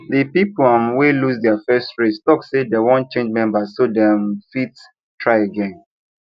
the people um wey lose their first race talk say they wan change members so they um fit try again